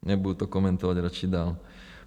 Nebudu to komentovat radši dál.